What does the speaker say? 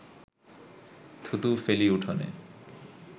থুতু ফেলি উঠোনে